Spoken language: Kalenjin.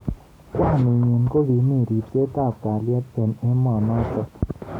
kwaninyi kokimi ribset ab kalyet eng emonotok.